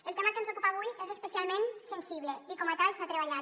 el tema que ens ocupa avui és especialment sensible i com a tal s’ha treballat